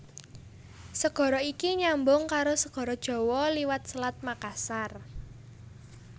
Segara iki nyambung karo Segara Jawa liwat Selat Makassar